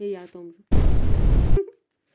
и я о том же